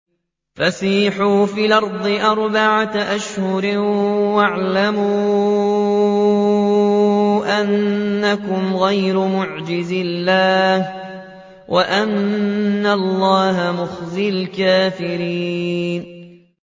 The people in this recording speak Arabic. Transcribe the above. فَسِيحُوا فِي الْأَرْضِ أَرْبَعَةَ أَشْهُرٍ وَاعْلَمُوا أَنَّكُمْ غَيْرُ مُعْجِزِي اللَّهِ ۙ وَأَنَّ اللَّهَ مُخْزِي الْكَافِرِينَ